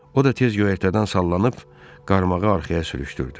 O da tez göyərtədən sallanıb, qarmağı arxaya sürüşdürdü.